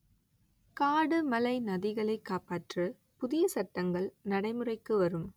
காடு மலை நதிகளை காப்பாற்ற புதிய சட்டங்கள் நடைமுறைக்கு வரும்